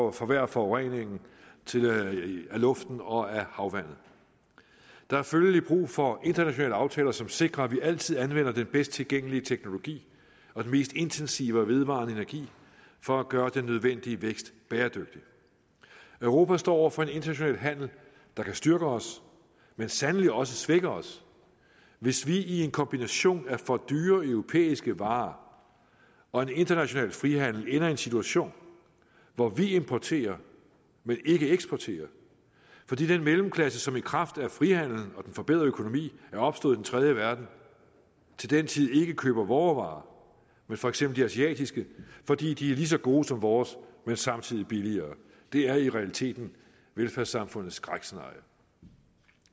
og forværre forureningen af luften og af havvandet der er følgelig brug for internationale aftaler som sikrer at vi altid anvender den bedst tilgængelige teknologi og den mest intensive og vedvarende energi for at gøre den nødvendige vækst bæredygtig europa står over for international handel der kan styrke os men sandelig også svækker os hvis vi i en kombination af for dyre europæiske varer og en international frihandel ender i en situation hvor vi importerer men ikke eksporterer fordi den mellemklasse som i kraft af frihandelen og den forbedrede økonomi er opstået i den tredje verden til den tid ikke køber vore varer men for eksempel de asiatiske fordi de er lige så gode som vores men samtidig billigere det er i realiteten velfærdssamfundets skrækscenarie